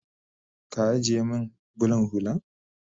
Ka ajiye min bulan hullan